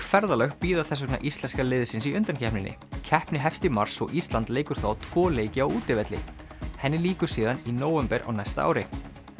ferðalög bíða þess vegna íslenska liðsins í undankeppninni keppni hefst í mars og Ísland leikur þá tvo leiki á útivelli henni lýkur síðan í nóvember á næsta ári